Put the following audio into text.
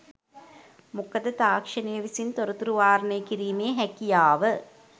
මොකද තාක්ෂණය විසින් තොරතුරු වාරණය කිරීමේ හැකියාව